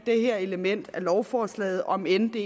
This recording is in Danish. det her element af lovforslaget om end det